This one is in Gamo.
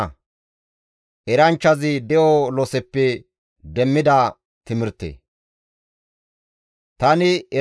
Tani eranchchazi Yerusalaamen Isra7eeles kawo gidada de7adis.